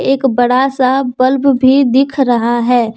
एक बड़ा सा बल्ब भी दिख रहा है।